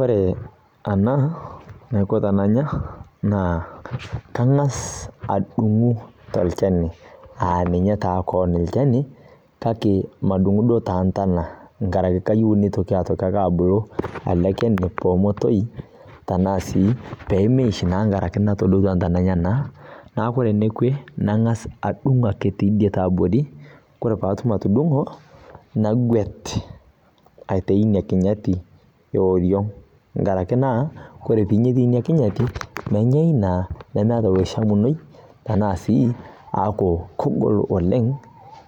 Ore ena, naaku tenanya naa ang'as adung'u tolchani, aa ninye taa kewon olchani, kake madung'u duo too ntana, nkaraki kayiu naitoki ake abulu, anake peemetoyu, anaa tenadung' intana enyena. Neaku ore enekwe naa kang'as adung' ake teidie tiabori, kore paatum atudung'o, nagwet aitayu ina kinyatie oriong' enkaraki naa ore ake pee inya etii ina kinyati, menyau naa, nemeata oloishamunoi tanaa sii keaku kegol oleng',